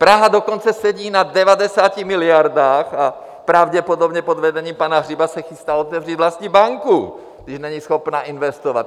Praha dokonce sedí na 90 miliardách a pravděpodobně pod vedením pana Hřiba se chystá otevřít vlastní banku, když není schopná investovat.